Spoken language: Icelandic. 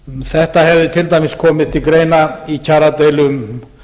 þetta hefði til dæmis komið til greina í kjaradeilum